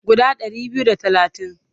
Guda ɗari biyu da talatin.